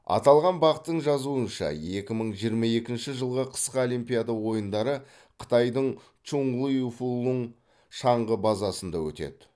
аталған бақ тың жазуынша екі мың жиырма екінші жылғы қысқы олимпиада ойындары қытайдың чұңли фулұң шаңғы базасында өтеді